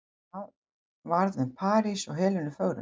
Hvað varð um París og Helenu fögru?